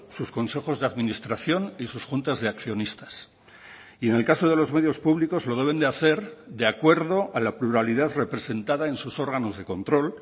sus consejos de administración y sus juntas de accionistas y en el caso de los medios públicos lo deben de hacer de acuerdo a la pluralidad representada en sus órganos de control